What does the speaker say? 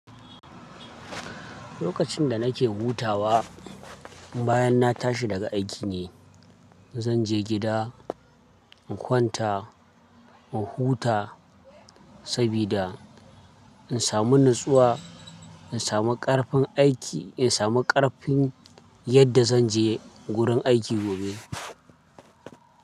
Lokacin da nake hutawa bayan na tashi daga aiki ne. Zan je gida in kwanta in huta sabida in samu natsuwa, in samu ƙarfin aiki, in samu ƙarfin yadda zan je wurin aiki gobe.